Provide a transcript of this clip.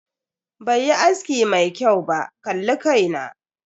Bai yi aski mai kyau ba, kalli kai na.